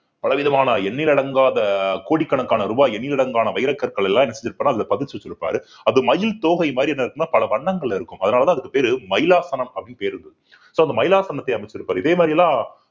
பல விதமான எண்ணில் அடங்காத கோடிக்கணக்கான ரூபாய் எண்ணிலடங்கான வைரக்கற்கள் எல்லாம் என்ன செஞ்சிருப்பாருன்னா அதுல பதிச்சு வச்சுருப்பாரு அது மயில் தோகை மாறி என்ன இருக்கும்ன்னா பல வண்ணங்கள்ல இருக்கும் அதனாலதான் அதுக்கு பேரு மைலாசனம் அப்படின்னு பேரு இருந்தது so அந்த மைலாசனத்தை அமைச்சிருப்பாரு இதே மாறியெல்லாம்